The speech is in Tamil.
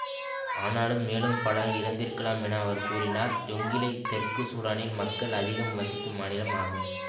ஆனாலும் மேலும் பலர் இறந்திருக்கலாம் என அவர் கூறினார் ஜொங்கிளெய் தெற்கு சூடானில் மக்கள் அதிகம் வசிக்கும் மாநிலம் ஆகும்